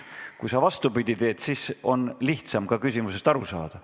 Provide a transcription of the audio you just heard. Kui sa vastupidi teed, siis on lihtsam ka küsimusest aru saada.